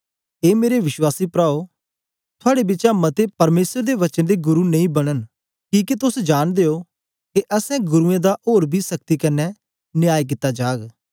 ए मेरे विश्वासी प्राओ थुआड़े बिचा मते परमेसर दे वचन दे गुरु नेई बनन किके तोस जांनदे ओ के असैं गुरूओं दा ओर बी सख्ती कन्ने न्याय कित्ता जाग